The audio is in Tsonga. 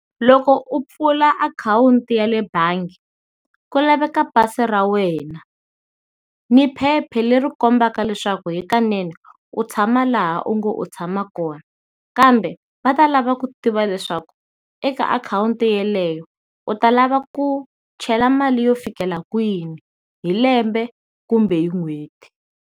Loko u pfula akhawunti ya le bangi, ku laveka pasi ra wena ni phepha leri kombaka leswaku hikanene u tshama laha u nge u tshama kona, kambe va ta lava ku tiva leswaku eka akhawunti yeleyo u ta lava ku chela mali yo fikela kwini hi lembe kumbe hi n'hweti.